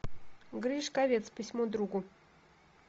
гришковец письмо другу